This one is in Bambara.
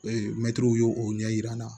Ee mɛtiriw y'o ɲɛ yira n na